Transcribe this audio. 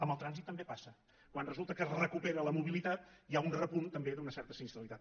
amb el trànsit també passa quan resulta que es recupera la mobilitat hi ha un repunt també d’una certa sinistralitat